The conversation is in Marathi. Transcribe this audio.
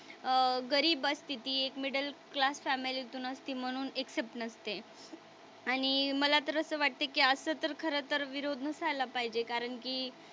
अह गरीब स्थिती, एक मिडल क्लास फॅमिलीतून असते म्हणून एक्सेप्ट नसते. आणि मला तर असं वाटतं की असं तर खरं तर विरोध नसायला पाहिजे कारण की,